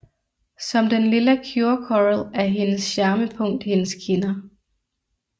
Som den lilla Cure Coral er hendes charmepunkt hendes kinder